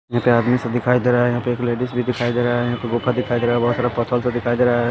यहां पे आदमी सब दिखाई दे रहा है यहां पे एक लेडीज भी दिखाई दे रहा है यहां पे गुफा दिखाई दे रहा है बहुत सारा पथल से दिखाई दे रहा है ।